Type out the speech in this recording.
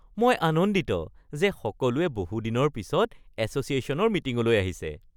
মই আনন্দিত যে সকলোৱে বহুত দিনৰ পিছত এছ’চিয়েশ্যনৰ মিটিঙলৈ আহিছে